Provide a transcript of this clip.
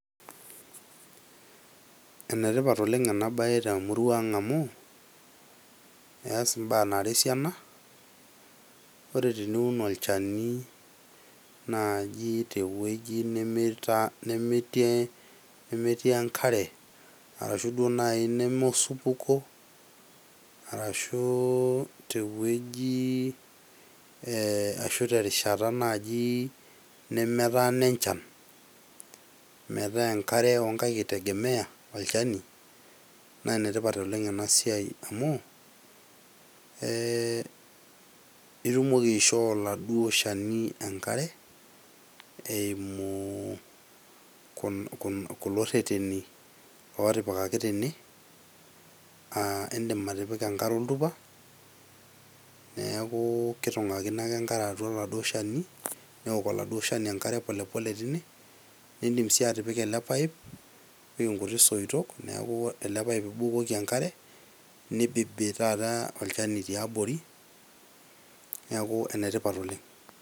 Ene tipat oleng' ena baye te murua ang' amu eas mbaa nara esiana ore teniun olchani naaji teuoi nemeta nemeti nemetii enkare arashu duo nai neme osupuko arashu te wueji ee ashu terishata naaji nemetaana echan metaa enkare o nkaek itegemea olchani, naa ene tipat oleng' ena siai amu eeh itumoki aishoo oladuo shani enkare eimu kul kulo rreteni o tipikaki tene aa indim atipika enkare atua oltupa neeku kitong'akino ake enkare oladuo shani neok oladuo shani enkare pole pole tine, niindim sii atipika ele pipe, nipik nkuti soitok neeku elepaip ibukoki enkare nibibi taata olchani tiabori neeku ene tipat oleng'.